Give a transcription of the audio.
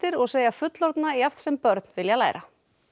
og segja fullorðna jafnt sem börn vilja læra